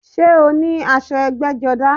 Sé o ní aṣọ ẹgbẹ́jọdá?